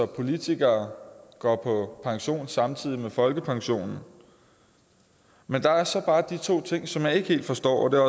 politikere går på pension samtidig med folkepension men der er så bare de to ting som jeg ikke helt forstår og det